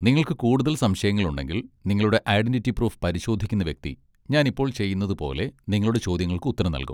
നിങ്ങൾക്ക് കൂടുതൽ സംശയങ്ങളുണ്ടെങ്കിൽ, നിങ്ങളുടെ ഐഡന്റിറ്റി പ്രൂഫ് പരിശോധിക്കുന്ന വ്യക്തി, ഞാൻ ഇപ്പോൾ ചെയ്യുന്നത് പോലെ, നിങ്ങളുടെ ചോദ്യങ്ങൾക്ക് ഉത്തരം നൽകും.